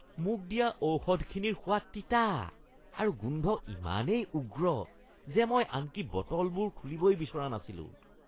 মোক দিয়া ঔষধখিনিৰ সোৱাদ তিতা আৰু গোন্ধ ইমানেই উগ্ৰ যে মই আনকি বটলবোৰ খুলিবই বিচৰা নাছিলোঁ।